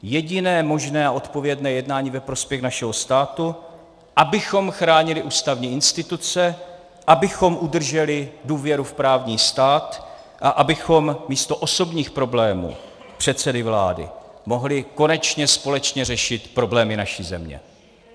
Jediné možné a odpovědné jednání ve prospěch našeho státu, abychom chránili ústavní instituce, abychom udrželi důvěru v právní stát a abychom místo osobních problémů předsedy vlády mohli konečně společně řešit problémy naší země.